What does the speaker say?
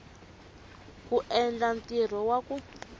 ku endla ntirho wa ku